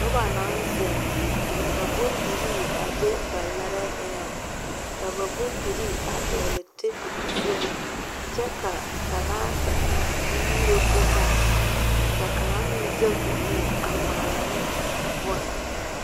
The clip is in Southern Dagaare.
Noba naŋ zeŋ ka bondire be ba laare eŋɛ , ka ba bondire a dɔgeli ba tabol zʋŋ kyɛ ka kaŋa nyuuro boma ka kaŋa meŋ zage o nu a ŋmaara ne bonne.